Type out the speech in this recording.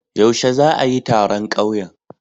Yaushe za'a yi taron ƙauyen?